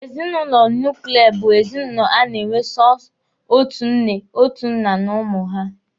Ezinụlọ nuklia bụ ezinụlọ a na-enwe sọsọ otu nne, otu nna na ụmụ ha.